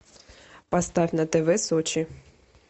поставь на тв сочи